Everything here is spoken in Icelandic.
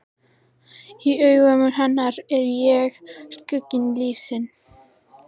Í augum hennar er ég skuggi lífsins.